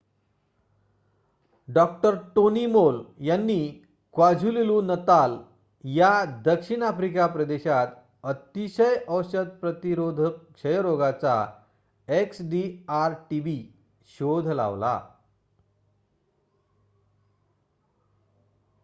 डॉ. Tony Moll यांनी KwaZulu Natal या दक्षिण आफ्रिकी प्रदेशात अतिशय औषध प्रतिरोधक क्षयरोगाचा एक्सडीआर-टीबी शोध लावला